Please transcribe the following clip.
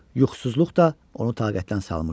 Yuxusuzluq da onu taqətdən salmışdı.